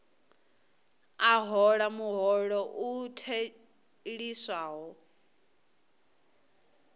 a hola muholo u theliswaho